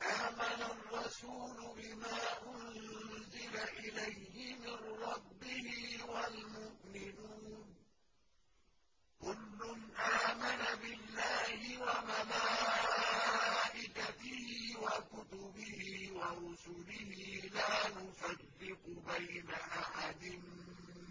آمَنَ الرَّسُولُ بِمَا أُنزِلَ إِلَيْهِ مِن رَّبِّهِ وَالْمُؤْمِنُونَ ۚ كُلٌّ آمَنَ بِاللَّهِ وَمَلَائِكَتِهِ وَكُتُبِهِ وَرُسُلِهِ لَا نُفَرِّقُ بَيْنَ أَحَدٍ